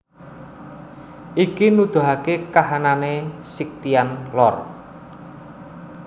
Iki nuduhake kahanane Scythian Lor